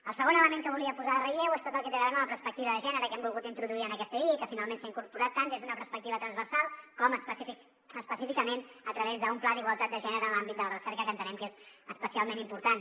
el segon element que volia posar en relleu és tot el que té a veure amb la perspectiva de gènere que hem volgut introduir en aquesta llei i que finalment s’ha incorporat tant des d’una perspectiva transversal com específicament a través d’un pla d’igualtat de gènere en l’àmbit de la recerca que entenem que és especialment important